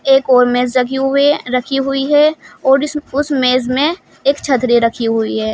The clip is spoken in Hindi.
एक और मेज़ रखे हुए रखी हुई है और इस उस मेज़ में एक छतरी रखी हुई है।